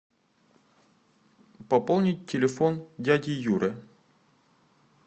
пополнить телефон дяди юры